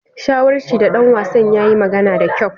Shawarchi ga dan wasan ya yi magana da kyau.